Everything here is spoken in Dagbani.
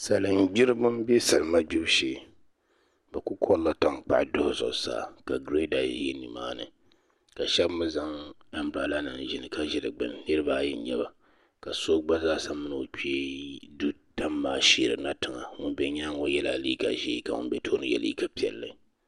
salingbiriba m-be salima gbibu shee bɛ kuli kɔrila tankpaɣu duhi zuɣusaa ka gireeda za ni maani ka shɛba mi zaŋ ambirɛdanima n-yili ka ʒi di gbuni niriba ayi n-nyɛ ba ka so gba zaasa mini o kpee du tam maa n-sheerina tiŋa ŋun be nyaaŋga ŋɔ yɛla liiga ʒee ka ŋun be tooni ye liiga piɛlli